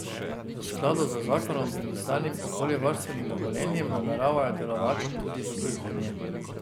V skladu z zakonom in izdanim okoljevarstvenim dovoljenjem nameravajo delovati tudi v prihodnje.